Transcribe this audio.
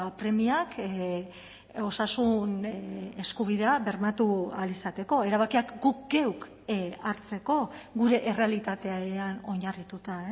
premiak osasun eskubidea bermatu ahal izateko erabakiak guk geuk hartzeko gure errealitatean oinarrituta